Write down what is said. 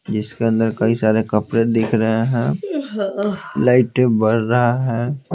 जिसके अंदर कई सारे कपड़े दिख रहे हैं लाइट बढ़ रहा है।